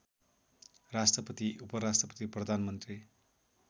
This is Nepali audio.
राष्ट्रपति उपराष्ट्रपति प्रधानमन्त्री